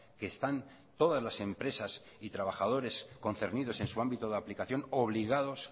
que están todas las empresas y trabajadores concernidos en su ámbito de aplicación obligados